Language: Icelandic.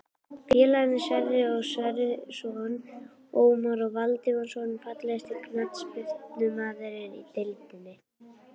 Félagarnir Sverrir Sverrisson og Ómar Valdimarsson Fallegasti knattspyrnumaðurinn í deildinni?